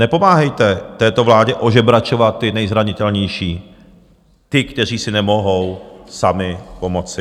Nepomáhejte této vládě ožebračovat ty nejzranitelnější, ty, kteří si nemohou sami pomoci.